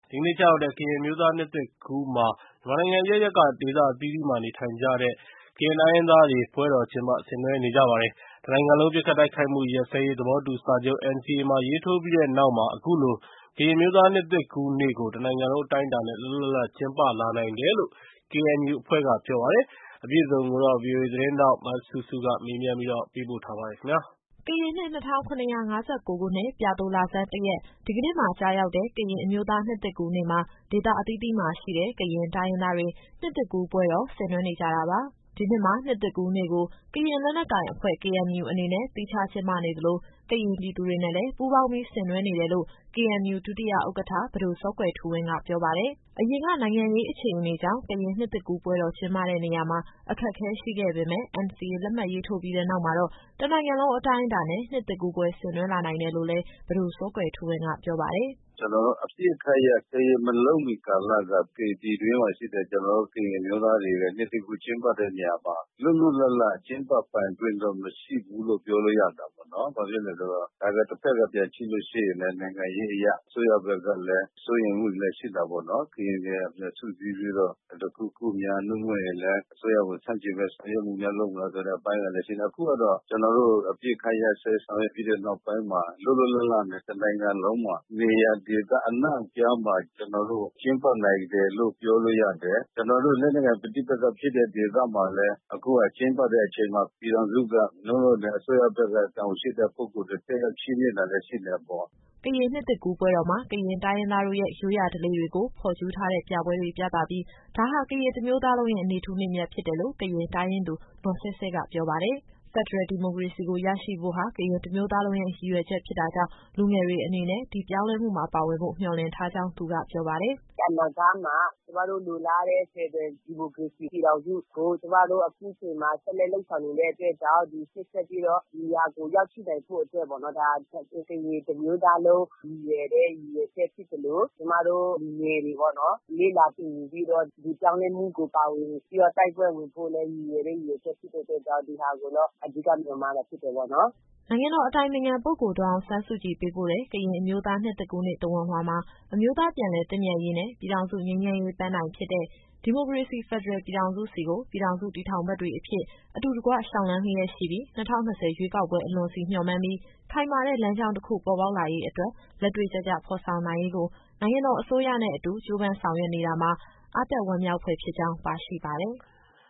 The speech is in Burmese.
ဒီကနေ့ကျရောက်တဲ့ ကရင်အမျိုးသား နှစ်သစ်ကူးနေ့မှာ မြန်မာနိုင်ငံအရပ်ရပ်က ဒေသအသီးသီးမှာ နေထိုင်တဲ့ ကရင်တိုင်းရင်းသားတွေ ပွဲတော်ကျင်းပ ဆင်နွှဲနေကြပါတယ်။ တနိုင်ငံလုံး ပစ်ခတ်တိုက်ခိုက်မှု ရပ်စဲရေးသဘောတူစာချုပ် NCA ရေးထိုးပြီးတဲ့နောက်မှာ အခုလို ကရင်အမျိုးသား နှစ်သစ်ကူးနေ့ကို တနိုင်ငံလုံး အတိုင်းအတာနဲ့ လွတ်လွတ်လပ်လပ် ကျင်းပလာနိုင်တယ်လို့ KNU အဖွဲ့က ပြောပါတယ်။ အပြည့်အစုံကို ဗွီအိုအေသတင်းထောက် စုစုကမေးမြန်း ပေးပို့ထားပါတယ်။ ကရင်နှစ် ၂၇၅၉ ခုနှစ်၊ ပြာသိုလဆန်း ၁ရက် ဒီကနေ့မှာ ကျရောက်တဲ့ ကရင်အမျိုးသား နှစ်သစ်ကူးနေ့မှာ ဒေသအသီးသီးမှာရှိတဲ့ ကရင်တိုင်းရင်းသားတွေ နှစ်သစ်ကူး ပွဲတော် ဆင်နွှဲနေကြတာပါ။ ဒီနှစ်မှာ နှစ်သစ်ကူးနေ့ကို ကရင်လက်နက်ကိုင်အဖွဲ့ KNU အနေနဲ့ သီးခြား ကျင်းပနေသလို ကရင်ပြည်သူတွေနဲ့လည်း ပူးပေါင်းပြီး ဆင်နွှဲနေတယ်လို့ KNU ဒုတိယဥက္ကဋ္ဌ ပဒိုစောကွယ်ထူးဝင်းက ပြောပါတယ်။ အရင်က နိုင်ငံရေး အခြေအနေကြောင့် ကရင်နှစ်သစ်ကူးပွဲတော် ကျင်းပတဲ့နေရာမှာ အခက်အခဲရှိခဲ့ပေမဲ့ NCA ရေးထိုးပြီးတဲ့နောက်မှာတော့ တနိုင်ငံလုံးအတိုင်းအတာနဲ့ နှစ်သစ်ကူးပွဲ ဆင်နွှဲလာနိုင်တယ်လို့ လည်း ပဒိုစောကွယ်ထူးဝင်းက ပြောပါတယ်။ “ကျနော်တို့အပစ်ခတ်ရပ်စဲရေး မလုပ်မီကာလက ကရင်ပြည်တွင်းမှာရှိတဲ့ ကျနော်တို့ ကရင်အမျိုးသားတွေရဲ့ နှစ်သစ်ကူးကျင်းပတဲ့နေရာမှာ လွတ်လွတ်လပ်လပ် ကျင်းပပိုင်ခွင့်တော့ မရှိဘူးလို့ ပြောလို့ရတာပေါ့နော်။ ဘာဖြစ်လို့လည်းဆိုတော့ ဒါကတဘက်က ပြန်ကြည့်လို့ရှိရင်လည်း နိုင်ငံရေးအရ အစိုးရဘက်ကလည်း စိုးရိမ်မှုတွေလည်း ရှိတာပေါ့နော်။ ကရင်တွေ ပြန်စုစည်းပြီးတော့ တခုခုများ ဒါမှမဟုတ်ရင်လည်း အစိုးရကို ဆန့်ကျင်တဲ့ ဆောင်ရွက်မှုများ လုပ်မလားဆိုတဲ့ အပိုင်းက ရှိတာပေါ့။ အခုကတော့ ကျနော်တို့ အပစ်ခတ်ရပ်စဲဆောင်ရွက်ပြီးတဲ့ နောက်ပိုင်းမှာ လွတ်လွတ်လပ်လပ်နဲ့ တနိုင်ငံလုံးမှာ နေရာဒေသအနှံ့အပြားမှာ ကျနော်တို့ ကျင်းပနိုင်တယ်လို့ ပြောလို့ရတယ်။ ကျနော်တို့ လက်နက်ကိုင် ပဋိပက္ခဖြစ်တဲ့ဒေသမှာလည်း အခုကကျင်းပတဲ့အချိန်မှာ ပြည်ထောင်စုက သို့မဟုတ်ရင်လည်း အစိုးရဘက်က တာဝန်ရှိတဲ့ ပုဂ္ဂိုလ်တွေ တက်ရောက်ချီးမြှင့်တာလည်း ရှိတာပေါ့။” ကရင်နှစ်သစ်ကူးပွဲတော်မှာ ကရင်တိုင်းရင်းသားတို့ရဲ့ ရိုးရာဓလေ့တွေကို ဖော်ကျူးထားတဲ့ ပြပွဲတွေပြသပြီး ဒါဟာ ကရင်တမျိုးသားလုံးရဲ့ နေ့ထူးနေ့မြတ် ဖြစ်တယ်လို့ ကရင်တိုင်းရင်းသူ နော်စဲစဲက ပြောပါတယ်။ ဖက်ဒရယ်ဒီမိုကရေစီကို ရရှိဖို့ဟာ ကရင်တမျိုးသားလုံးရဲ့ ရည်ရွယ်ချက်ဖြစ်တာကြောင့် လူငယ်တွေအနေနဲ့ ဒီပြောင်းလဲမှုမှာ ပါဝင်ဖို့ မျှော်မှန်းထားကြောင်း သူကပြောပါတယ်။ “အနာဂတ်မှာ ကျမတို့ လိုလားတဲ့ ဖက်ဒရယ်ဒီမိုကရေစီ ပြည်ထောင်စုကို ကျမတို့အခုချိန်မှာ ဆက်လက်လုပ်ဆောင်နေတဲ့ အတွက်ကြောင့် ရှေ့ဆက်ပြီးတော့ ဒီဟာကိုရရှိနိုင်ဖို့ အတွက်ပေါ့နော်။ ဒါ ကရင်တမျိုးသားလုံး ရည်ရွယ်တဲ့ ရည်ရွယ်ချက်ဖြစ်သလို ကျမတို့ လူငယ်တွေပေါ့နော် လေ့လာသင်ယူပြီးတော့ ဒီပြောင်းလဲမှုကို ပါဝင်ပြီးတော့ တိုက်ပွဲဝင်ဖို့ ရည်ရွယ်ချက်ဖြစ်တဲ့အတွက် ဒီဟာကိုတော့ အဓိကမျှော်မှန်းတာ ဖြစ်တယ်ပေါ့နော်။” နိုင်ငံတော်အတိုင်ပင်ခံပုဂ္ဂိုလ် ဒေါ်အောင်ဆန်းစုကြည် ပေးပို့တဲ့ ကရင်အမျိုးသား နှစ်သစ်ကူးနေ့ သဝဏ်လွှာမှာ အမျိုးသားပြန်လည် သင့်မြတ်ရေးနဲ့ ပြည်ထောင်စု ငြိမ်းချမ်းရေး ပန်းတိုင်ဖြစ်တဲ့ ဒီမိုကရေစီဖက်ဒရယ် ပြည်ထောင်စုဆီကို ပြည်ထောင်စု တည်ထောင်ဖက်တွေအဖြစ် အတူတကွ လျှောက်လှမ်းလျက်ရှိပြီး ၂၀၂၀ ရွေးကောက်ပွဲအလွန်ဆီ မျှော်မှန်းပြီး ခိုင်မာတဲ့ လမ်းကြောင်း တခု ပေါ်ပေါက်လာရေးအတွက် လက်တွေ့ကျကျ ဖော်ဆောင်နိုင်ရေးကို နိုင်ငံတော် အစိုးရနဲ့အတူ ကြိုးပမ်းဆောင်ရွက်နေတာမှာ အားတက် ဝမ်းမြောက်ဖွယ် ဖြစ်ကြောင်း ပါရှိပါတယ်။